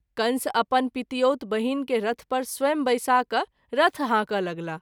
कंस अपन पितिऔत बहिन के रथ पर स्वंय बैसा क’ रथ हाँक’ लगलाह।